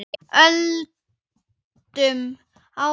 Höldum áfram.